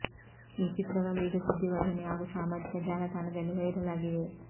ಈ ಚಿತ್ರಗಳು ಈಗ ಸುದ್ದಿವಾಹಿನಿ ಹಾಗೂ ಸಾಮಾಜಿಕ ಜಾಲತಾಣದಲ್ಲಿ ವೈರಲ್ ಆಗಿವೆ